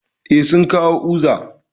Eh, sun kawo uza